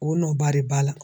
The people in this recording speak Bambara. O nɔ ba de b'a la.